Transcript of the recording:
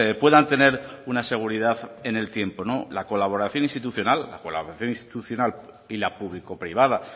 pues puedan tener una seguridad en el tiempo la colaboración institucional y la público privada